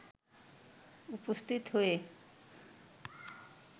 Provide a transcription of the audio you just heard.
উপস্থিত হয়ে